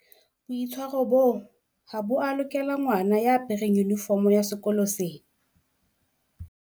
boitshwaro boo ha bo a lokela ngwana ya apereng yunifomo ya sekolo sena